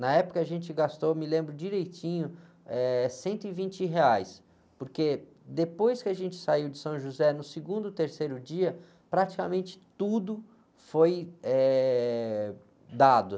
Na época a gente gastou, me lembro direitinho, eh, cento e vinte reais, porque depois que a gente saiu de São José, no segundo ou terceiro dia, praticamente tudo foi, eh, dado.